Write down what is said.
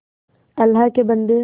अल्लाह के बन्दे